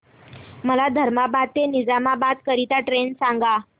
मला धर्माबाद ते निजामाबाद करीता ट्रेन सांगा